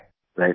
right सिर